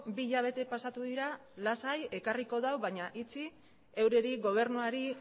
bi hilabete pasatu dira lasai ekarrik du baina itxi heureri gobernuari